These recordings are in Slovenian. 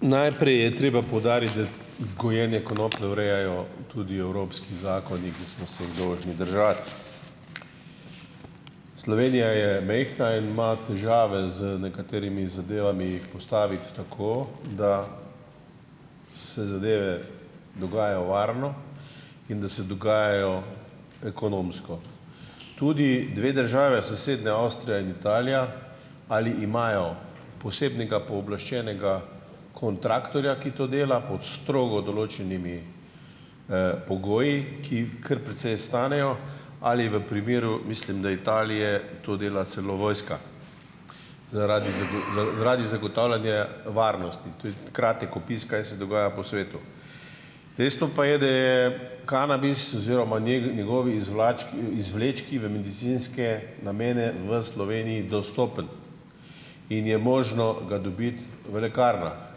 Najprej je treba poudariti, da gojenje konoplje urejajo tudi evropski zakoni, ki smo se jih dolžni držati. Slovenija je majhna in ima težave z nekaterimi zadevami, jih postaviti tako, da se zadeve dogajajo varno in da se dogajajo ekonomsko. Tudi dve državi, sosednja Avstrija in Italija, ali imajo posebnega pooblaščenega kontraktorja, ki to dela, pod strogo določenimi pogoji, ki kar precej stanejo, ali v primeru, mislim, da Italije, to dela celo vojska zaradi zaradi zagotavljanja varnosti. To je kratek opis, kaj se dogaja po svetu. Dejstvo pa je, da je kanabis oziroma njegovi izvlački izvlečki v medicinske namene v Sloveniji dostopen in je možno ga dobiti v lekarnah.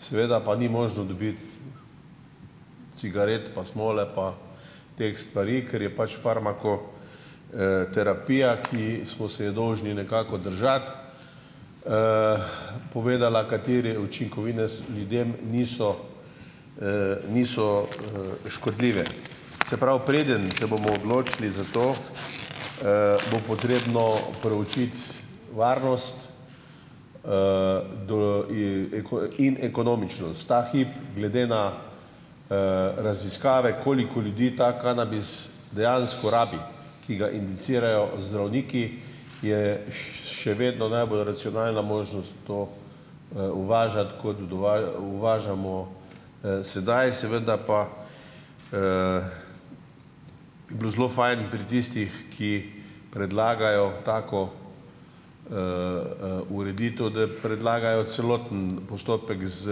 Seveda pa ni možno dobiti cigaret, pa smole, pa teh stvari, ker je pač farmako, terapija, ki smo se jo dolžni nekako držati, povedala, katere učinkovine ljudem niso, niso, škodljive. Se pravi, preden se bomo odločili za to, bo potrebno proučiti varnost in ekonomičnost. Ta hip glede na, raziskave koliko ljudi ta kanabis dejansko rabi, ki ga indicirajo zdravniki, je še vedno najbolj racionalna možnost to, uvažati kot uvažamo, sedaj. Seveda pa bi bilo zelo fajn pri tistih, ki predlagajo tako ureditev, da predlagajo celoten postopek s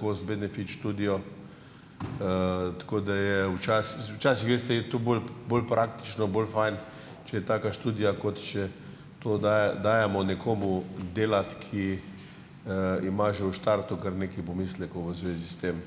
cost benefit študijo, tako da je včasih, včasih, veste, je to bolj bolj praktično bolj fajn, če je taka študija, kot še to dajemo nekomu delati, ki, ima že v štartu kar nekaj pomislekov v zvezi s tem.